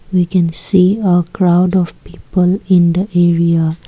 we can see a crowd of people in the area.